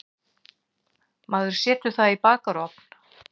Maður setur það í bakarofn.